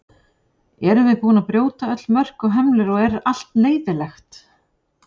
Erum við búin að brjóta öll mörk og hömlur og er allt leyfilegt?